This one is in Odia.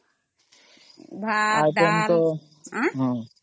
ଭାତ୍ ଡାଲ୍